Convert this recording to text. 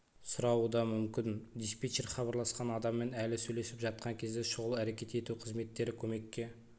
сұрауы да мүмкін диспетчер хабарласқан адаммен әлі сөйлесіп жатқан кезде шұғыл әрекет ету қызметтері көмекке